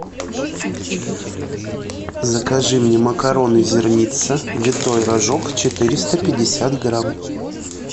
закажи мне макароны зерница витой рожок четыреста пятьдесят грамм